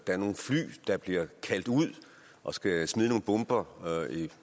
er nogle fly der bliver kaldt ud og skal smide nogle bomber